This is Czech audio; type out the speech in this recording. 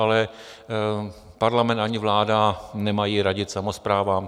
Ale parlament ani vláda nemají radit samosprávám.